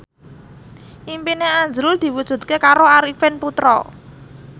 impine azrul diwujudke karo Arifin Putra